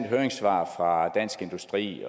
høringssvar fra dansk industri